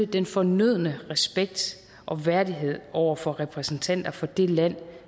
den fornødne respekt og værdighed over for repræsentanter for det land